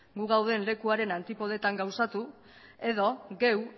gu gauden lekuaren antipodetan gauzatu edo geu